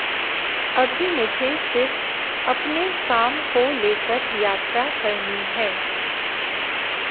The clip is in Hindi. अभी मुझे सिर्फ अपने काम को लेकर यात्रा करनी है